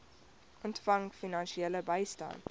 ontvang finansiële bystand